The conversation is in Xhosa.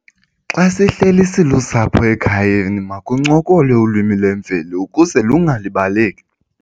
Xa sihleli silusapho ekhayeni makuncokolwe ulwimi lwemveli ukuze lungalibaleki.